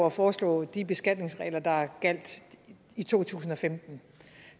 at foreslå de beskatningsregler der gjaldt i to tusind og femten